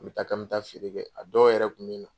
N bɛ taa k'an bɛ taa feere kɛ a dɔw yɛrɛ kun bɛ na.